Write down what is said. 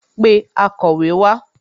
Pé akọ̀wé wá